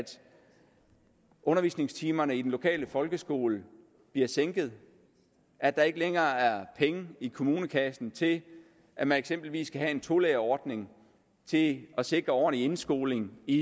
undervisningstimer i den lokale folkeskole bliver sænket at der ikke længere er penge i kommunekassen til at man eksempelvis kan have en tolærerordning til at sikre ordentlig indskoling i